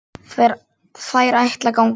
Þær ætla að ganga heim.